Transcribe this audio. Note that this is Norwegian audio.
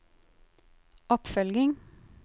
oppfølging